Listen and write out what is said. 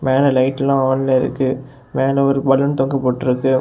மேல லைட்ல்லா ஆன்ல இருக்கு. மேல ஒரு பலூன் தொங்க போட்டுருக்கு.